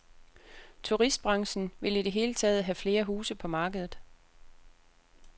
Turistbranchen vil i det hele taget have flere huse på markedet.